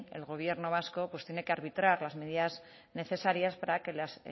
el gobierno vasco pues tiene que arbitrar las medidas necesarias para que las